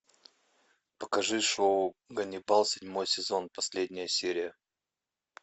покажи шоу ганнибал седьмой сезон последняя серия